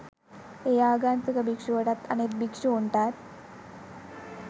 ඒ ආගන්තුක භික්ෂුවටත් අනෙත් භික්ෂූන්ටත්